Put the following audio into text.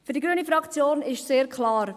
Für die grüne Fraktion ist es sehr klar: